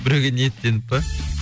біреуге ниеттеніп па